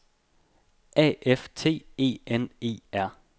A F T E N E R